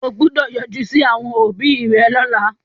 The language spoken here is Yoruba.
O gbọ́dọ̀ yọjú sí àwọn òbí rẹ lọ́la.